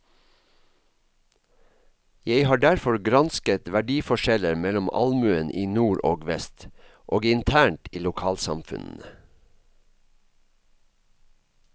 Jeg har derfor gransket verdiforskjeller mellom allmuen i nord og vest, og internt i lokalsamfunnene.